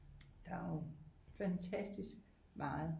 Der er jo fantastisk meget